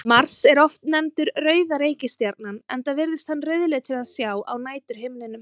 Mars er oft nefndur rauða reikistjarnan enda virðist hann rauðleitur að sjá á næturhimninum.